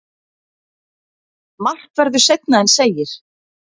Margt verður seinna en segir.